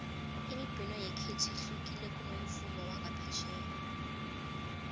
imibhino yekhethu ihlukile kunomvumo wangaphetjheya